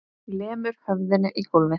Lemur höfðinu í gólfið.